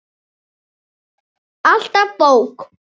Alltaf bók.